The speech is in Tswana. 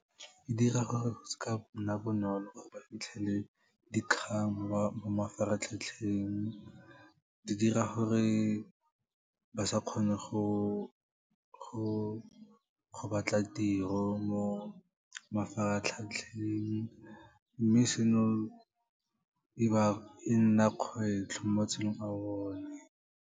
E dira gore seka nna bonolo gore ba fitlhele dikgang mo mafaratlhatlheng, di dira gore ba sa kgona go batla tiro mo mafaratlhatlheng, mme seno e nna kgwetlho mo matshelong a bone.